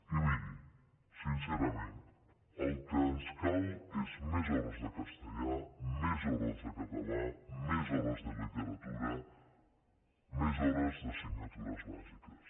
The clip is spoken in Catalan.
i miri sincerament el que ens cal és més hores de cas·tellà més hores de català més hores de literatura més hores d’assignatures bàsiques